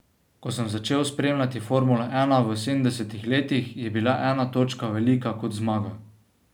Ko sem začel spremljati formulo ena v sedemdesetih letih, je bila ena točka velika kot zmaga.